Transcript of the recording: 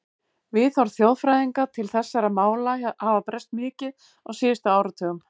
Viðhorf þjóðfræðinga til þessara mála hafa breyst mikið á síðustu áratugum.